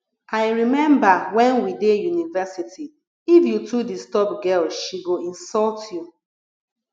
i rememba wen we dey university if you too disturb girl she go insult you